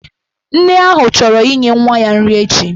Nne ahụ chọrọ inye nwa ya nri echi.